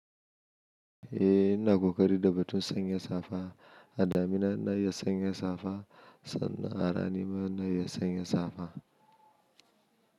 Eh ina kokari da batun sanya safa, a damina ina iya sanya safa sannan a rani ma ina iya sanya safa.